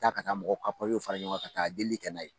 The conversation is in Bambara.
Taa ka taa mɔgɔ ka pipiyew fara ɲɔgɔn ka taa delili kɛ n'a ye.